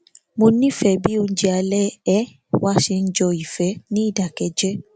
mo nífẹ bí oúnjẹ alẹ um wa ṣe ń jọ ìfẹ ní ìdákẹjẹ